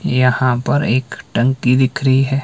यहां पर एक टंकी दिख रही है।